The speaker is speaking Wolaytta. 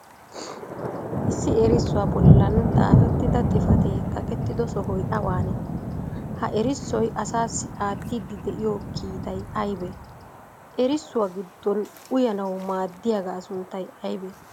Issi eerissuwaa bollan xafetida xifate kaqqetido sohoy awaanee? ha eerissoy asaa aattiydi de'iyo kiittay aybee? Eerissuwaa giddon uyyanawu maadiyagaa sunttay aybee?